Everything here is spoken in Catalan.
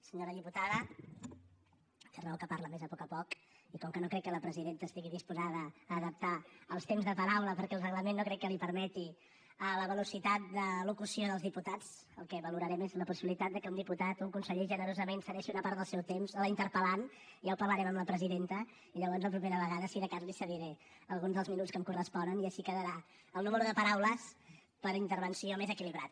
senyora diputada té raó que parla més a poc a poc i com que no crec que la presidenta estigui disposada a adaptar els temps de paraula perquè el reglament no crec que li ho permeti a la velocitat de locució dels diputats el que valorarem és la possibilitat que un diputat un conseller generosament cedeixi una part del seu temps a la interpel·lant ja ho parlarem amb la presidenta i llavors la propera vegada si de cas li cediré alguns dels minuts que em corresponen i així quedarà el nombre de paraules per intervenció més equilibrat